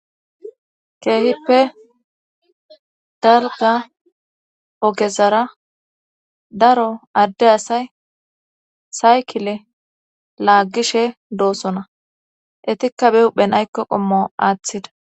keehippe dalgga ogezara daro adde asay sayikile laaggishe doosona etikka be huphen aykko qommo aaththida.